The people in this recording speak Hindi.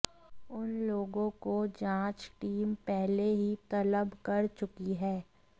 उन लोगों को जांच टीम पहले ही तलब कर चुकी है